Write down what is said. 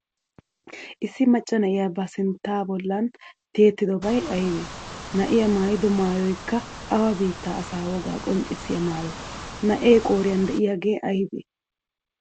Issi maccaa naa7iya ba sintta bollan tiyidobay aybee? Naa7iya maayido maayoykka awa bittaa asaa woga qonccissiya maayo? Naa7ee qooriyan de7iyaage aybee?